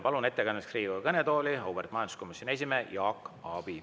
Palun ettekandjaks Riigikogu kõnetooli auväärt majanduskomisjoni esimehe Jaak Aabi.